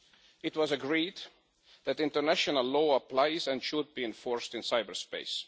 It was agreed that international law applies and should be enforced in cyberspace.